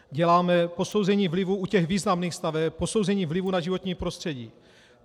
Děláme posouzení vlivu u těch významných staveb, posouzení vlivu na životní prostředí.